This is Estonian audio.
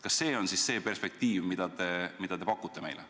Kas see on siis perspektiiv, mida te meile pakute?